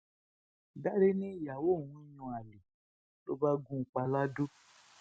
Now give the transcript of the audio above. dáre nìyàwó òun ń yan àlè ló bá gún un pa ladọ